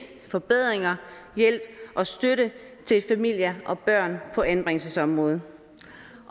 forbedringer hjælp og støtte til familier og børn på anbringelsesområdet